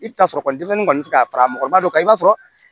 I bɛ t'a sɔrɔ kɔni denmisɛnnin kɔni tɛ se ka fara mɔgɔba dɔ kan i b'a sɔrɔ